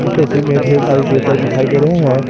इस तस्वीर में ढेर सारे दिखाई दे रहे हैं।